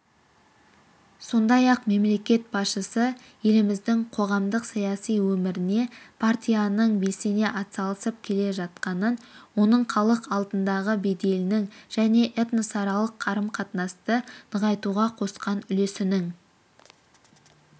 сондай-ақ мемлекет басшысы еліміздің қоғамдық-саяси өміріне партияның белсене атсалысып келе жатқанын оның халық алдындағы беделінің және этносаралық қарым-қатынасты нығайтуға қосқан үлесінің